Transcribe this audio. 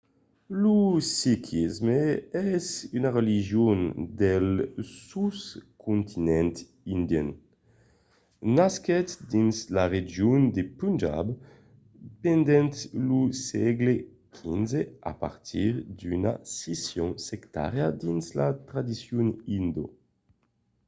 lo sikhisme es una religion del soscontinent indian. nasquèt dins la region de punjab pendent lo sègle xv a partir d'una scission sectària dins la tradicion indó